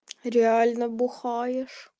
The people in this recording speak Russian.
реально бухаешь